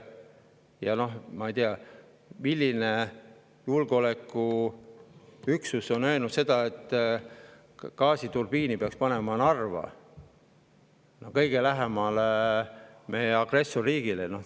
Ja ma ei tea, milline julgeolekuüksus on öelnud, et gaasiturbiini peaks panema Narva, kõige lähemale agressorriigile.